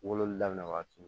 Wololi daminɛ wagati min